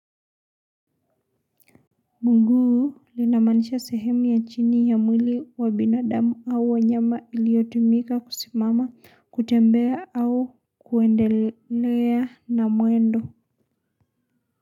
Mguu linamaanisha sehemu ya chini ya mwili wa binadamu au wanyama iliotumika kusimama kutembea au kuendelea na mwendo.